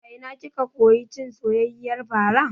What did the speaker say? A ina kika koyi cin soyayyiyar fara?